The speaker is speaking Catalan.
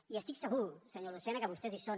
i estic segur senyor lucena que vostès hi són